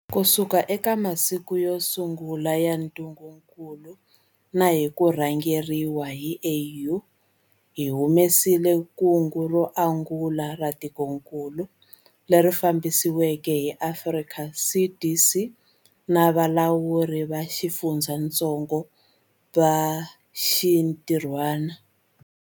Kusuka eka masiku yo sungula ya ntungukulu na hi ku rhangeriwa hi AU, hi humelerisile kungu ro angula ra tikokulu, leri fambisiweke hi Afrika CDC na valawuri va xifundzatsongo va xintirhwana.